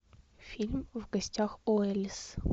фильм в гостях у элис